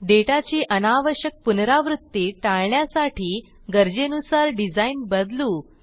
डेटाची अनावश्यक पुनरावृत्ती टाळण्यासाठी गरजेनुसार डिझाइन बदलू